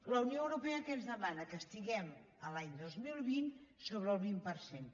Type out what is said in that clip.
la unió europea què ens demana que estiguem l’any dos mil vint sobre el vint per cent